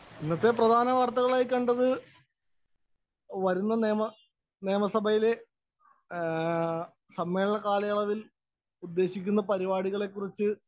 speaker 1 ഇന്നത്തെ പ്രധാനവാര്‍ത്തകളായി കണ്ടത് വരുന്ന നിയമ നിയമസഭയിലേസമ്മേളനകാലയളവില്‍ ഉദ്ദേശിക്കുന്ന പരിപാടികളെ കുറിച്ച്